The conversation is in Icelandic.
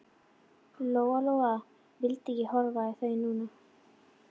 Lóa-Lóa vildi ekki horfa í þau núna.